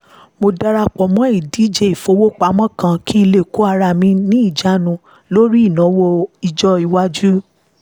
mo dara pọ̀ mọ́ ìdíje ìfowópamọ́ kan kí n lè kó ara mi ní ìjánu lórí ìnáwó ọjọ́-ìwájú